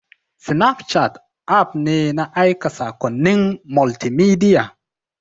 Snapchat app ne na aika saƙonnin multimedia.